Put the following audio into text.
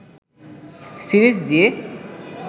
series দিয়ে